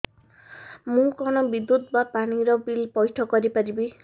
ମୁ କଣ ବିଦ୍ୟୁତ ବା ପାଣି ର ବିଲ ପଇଠ କରି ପାରିବି